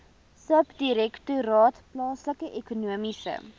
subdirektoraat plaaslike ekonomiese